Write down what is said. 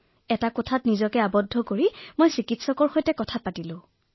এটা কোঠাত নিজতে পৃথক কৰি চিকিৎসকৰ পৰামৰ্শ গ্ৰহণ কৰিলো